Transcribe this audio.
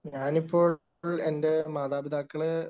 ഞാനിപ്പോള്‍ എന്‍റെ മാതാപിതാക്കളെ